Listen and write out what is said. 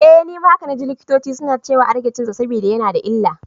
Eh, nima haka naji likitoci suna ciwa a rage cinsa saboda yana da illa.